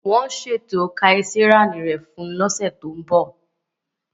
Wọn ṣeto kesareani rẹ fun ọsẹ to nbo.